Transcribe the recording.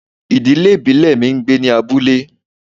Ìdílé ìbílẹ̀ mi ń gbé ní abúlé